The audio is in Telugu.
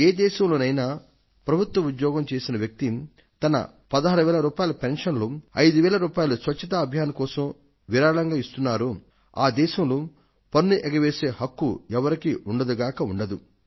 ఏ దేశంలోనైనా ప్రభుత్వోద్యోగం చేసిన వ్యక్తి తన 16000 రూపాయల పెన్షన్ లో 5000 రూపాయలు స్వచ్ఛతా అభియాన్ కోసం విరాళం ఇస్తున్నారో ఆ దేశంలో పన్ను ఎగవేసే హక్కు ఎవరికీ ఉండదు గాక ఉండదు